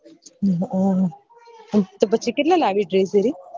હમ તો પછી કેટલા લાવ્યો dress સુધી